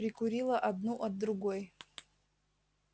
прикурила одну от другой